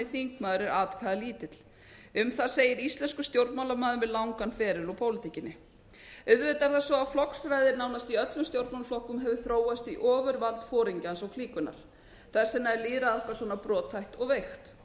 þingmaður er atkvæðalítill um það segir íslenskur stjórnmálamaður með langan beðið úr pólitíkinni auðvitað er það svo að flokksræði í nánast öllum stjórnmálaflokkum hefur þróast í nánast ofurvald foringjans og klíkunnar þess vegna er lýðræði okkar svona brothætt og veikt og